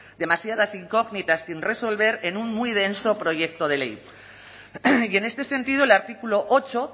demasiadas incógnitas sin resolver en un muy denso proyecto de ley y en este sentido el artículo ocho